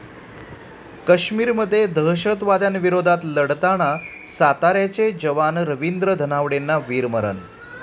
काश्मीरमध्ये दहशतवाद्यांविरोधात लढताना साताऱ्याचे जवान रवींद्र धनावडेंना वीरमरण